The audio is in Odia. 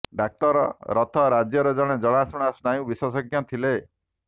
ଡାକ୍ତର ରଥ ରାଜ୍ୟର ଜଣେ ଜଣାଶୁଣା ସ୍ନାୟୁ ବିଶେଷଜ୍ଞ ଥିଲେ